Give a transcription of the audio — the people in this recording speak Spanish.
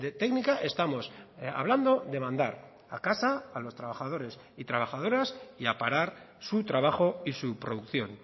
técnica estamos hablando de mandar a casa a los trabajadores y trabajadoras y a parar su trabajo y su producción